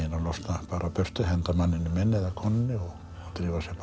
bara burtu henda manninum inn eða konunni og drífa sig bara